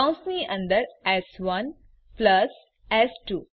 કૌંસની અંદર એસ1 પ્લસ એસ2